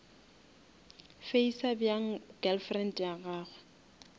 facer bjang girlfriend ya gagwe